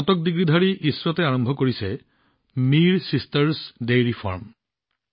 স্নাতক ইছৰাটে আৰম্ভ কৰিছে মিৰ ছিষ্টাৰছ ডেইৰী ফাৰ্ম